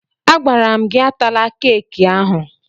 Agwara m gị atala keeki ahụ!